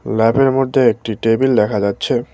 ল্যাবের মধ্যে একটি টেবিল দেখা যাচ্ছে।